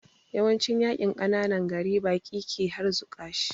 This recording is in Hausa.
Yawancin yaƙin ƙananan gari baƙi ke harzuƙa shi